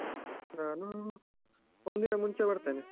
ನಾನು ಒಂದಿನ ಮುಂಚೆ ಬರ್ತೇನೆ.